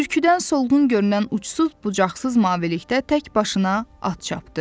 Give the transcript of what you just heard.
Bürküdən solğun görünən uçsuz bucaqsız mavilikdə tək başına at çapdı.